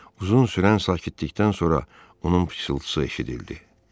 Uzun sürən sakitlikdən sonra onun pıçltısı eşidildi.